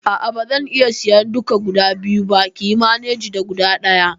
A'a bazan iya sayan duka biyu ba, kiyi maneji da guda ɗaya